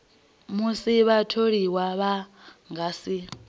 musi vhatholiwa vha nga si